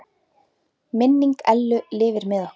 Minning Ellu lifir með okkur.